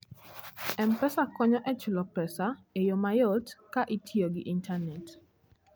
M-Pesa konyo e chulo pesa e yo mayot ka itiyo gi intanet.